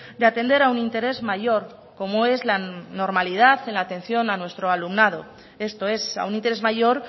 de atender a un interés mayor como es la normalidad en la atención a nuestro alumnado esto es a un interés mayor